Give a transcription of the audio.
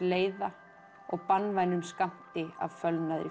leiða og banvænum skammti af